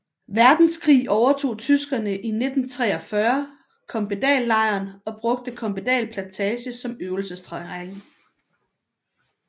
Verdenskrig overtog tyskerne i 1943 Kompedallejren og brugte Kompedal Plantage som øvelsesterræn